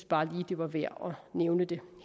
bare lige det var værd at nævne det